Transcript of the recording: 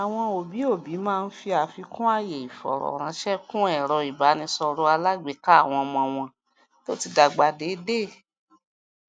àwọn òbí òbí máa ń fi àfikún àyè ìfọrọránṣẹ kún ẹrọ ìbánisọrọ alágbèéká àwọn ọmọ wọn tó ti dàgbà déédéé